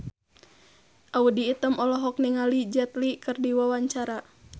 Audy Item olohok ningali Jet Li keur diwawancara